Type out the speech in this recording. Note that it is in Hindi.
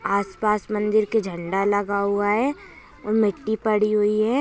आसपास मंदिर का झंडा लगा हुआ है और मिट्टी पड़ी हुई है।